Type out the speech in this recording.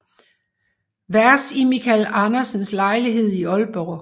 Vers i Michael Andersens lejlighed i Aalborg